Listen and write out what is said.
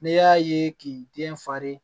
Ne y'a ye k'i den falen